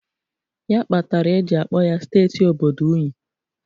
Ya kpatara e ji akpọ ya steeti obodo unyi.